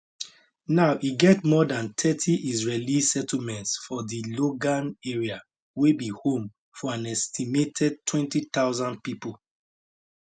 now e get more dan thirty israeli settlements for di golan area wey be home to an estimated 20000 pipo